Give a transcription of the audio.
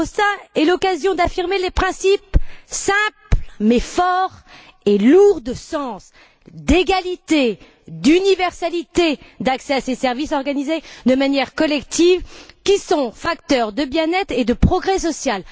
De Rossa est l'occasion d'affirmer les principes simples, mais forts et lourds de sens, d'égalité, d'universalité d'accès à ces services organisés de manière collective, qui sont des facteurs de bien être et de progrès social.